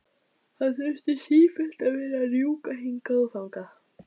Hann þurfti sífellt að vera að rjúka hingað og þangað.